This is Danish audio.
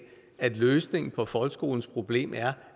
at løsningen på folkeskolens problem er